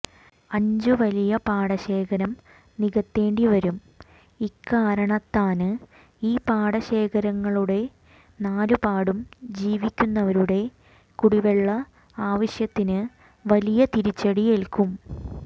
അഞ്ചു വലിയ പാടശേഖരം നികത്തേണ്ടി വരും ഇക്കാരണത്താന് ഈ പാടശേഖരങ്ങളുടെ നാലുപാടും ജീവിക്കുന്നവരുടെ കുടിവെള്ള ആവശ്യത്തിന് വലിയ തിരിച്ചടിയേല്ക്കും